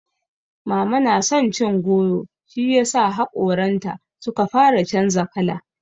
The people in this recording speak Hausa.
Mama na son cin goro shiyasa haƙoranta suka fara canza kala.